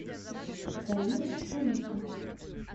галина шулика